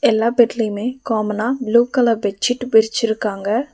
எல்லா பெட்லயுமே காமனா ப்ளூ கலர் பெட்ஷீட் விரிச்சிருக்காங்க.